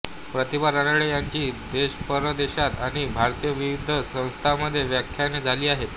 प्रतिभा रानडे यांची देशपरदेशांत आणि भारतातील विविध संस्थांमध्ये व्याख्याने झाली आहेत